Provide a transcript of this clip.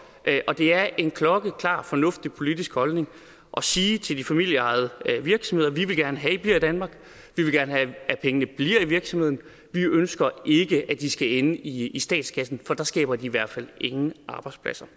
det er en klokkeklar fornuftig politisk holdning at sige til de familieejede virksomheder vi vil gerne have at i bliver i danmark vi vil gerne have at pengene bliver i virksomheden vi ønsker ikke at de skal ende i i statskassen for der skaber de i hvert fald ingen arbejdspladser